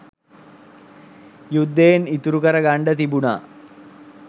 යුද්ධයෙන් ඉතුරු කර ගන්ඩ තිබුණා